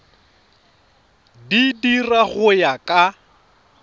di dira go ya ka